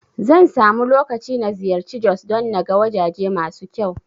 Zan samu lokaci na ziyarci Jos don naga wajaje masu kyau